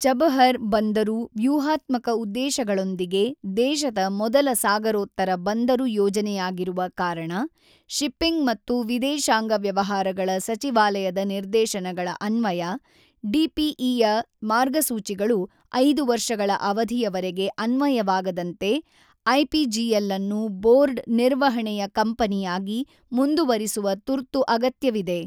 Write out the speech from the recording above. Chabahar ಬಂದರು ವ್ಯೂಹಾತ್ಮಕ ಉದ್ದೇಶಗಳೊಂದಿಗೆ ದೇಶದ ಮೊದಲ ಸಾಗರೋತ್ತರ ಬಂದರು ಯೋಜನೆಯಾಗಿರುವ ಕಾರಣ, ಶಿಪ್ಪಿಂಗ್ ಮತ್ತು ವಿದೇಶಾಂಗ ವ್ಯವಹಾರಗಳ ಸಚಿವಾಲಯದ ನಿರ್ದೇಶನಗಳ ಅನ್ವಯ, ಡಿಪಿಇಯ ಮಾರ್ಗಸೂಚಿಗಳು 5 ವರ್ಷಗಳ ಅವಧಿಯವರೆಗೆ ಅನ್ವಯವಾಗದಂತೆ ಐಪಿಜಿಎಲ್ ಅನ್ನು ಬೋರ್ಡ್ ನಿರ್ವಹಣೆಯ ಕಂಪನಿಯಾಗಿ ಮುಂದುವರಿಸುವ ತುರ್ತು ಅಗತ್ಯವಿದೆ.